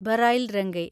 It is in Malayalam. ബറൈൽ രംഗെ